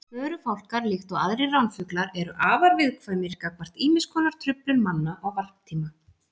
Förufálkar, líkt og aðrir ránfuglar, eru afar viðkvæmir gagnvart ýmis konar truflun manna á varptíma.